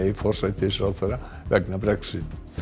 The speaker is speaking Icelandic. forsætisráðherra vegna Brexit